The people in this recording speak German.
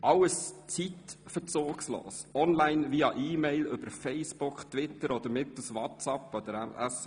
Dies alles zeitverzugslos, online, via EMail, über Facebook, Twitter oder mittels WhatsApp oder SMS.